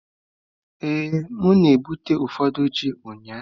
Ee, m na-egbute ụfọdụ ji ụnyahụ.